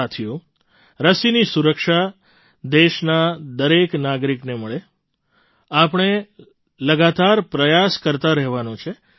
સાથીઓ રસીની સુરક્ષા દેશના દરેક નાગરિકને મળે આપણે લગાતાર પ્રયાસ કરતા રહેવાનો છે